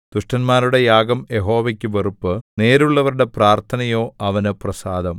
ദുഷ്ടന്മാരുടെ യാഗം യഹോവയ്ക്ക് വെറുപ്പ് നേരുള്ളവരുടെ പ്രാർത്ഥനയോ അവന് പ്രസാദം